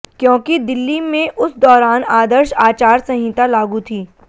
क्योंकि दिल्ली में उस दौरान आदर्श आचार संहिता लागू थी